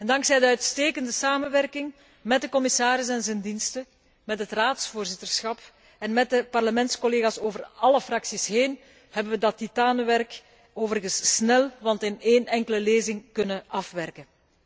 Dankzij de uitstekende samenwerking met de commissaris en zijn diensten, met het Raadsvoorzitterschap en met de parlementscollega's over alle fracties heen, hebben we dat titanenwerk overigens snel, en wel in één enkele lezing, kunnen afwerken.